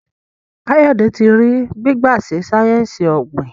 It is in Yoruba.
Kayode tí rí gbigba sí sáyẹnsì ogbin.